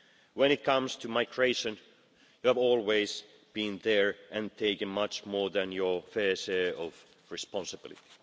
When it comes to migration, you have always been there and taken much more than your fair share of responsibility.